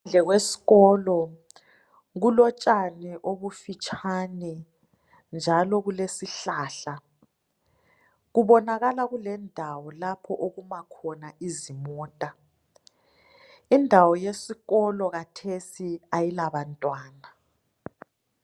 Ngaphandle kwesikolo kulotshani obufitshane njalo kulesihlahla kubonakala kulendawo okuma khona izimota. Indawo yesikolo kanti khathesi ayila bantwana